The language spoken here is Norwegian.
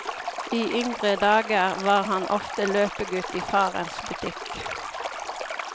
I yngre dager var han ofte løpegutt i farens butikk.